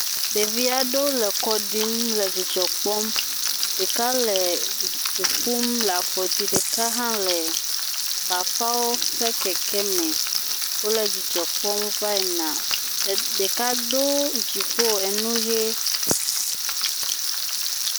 Ɖevi aɖewo le kɔ ɖim le dzidzɔ kpɔm, ɖeka le du ƒum le afɔdzi, ɖeka hã le bafawo ƒe keke me, wole dzidzɔ kpɔm va yina, ɖeka do edziƒo, enu ʋe.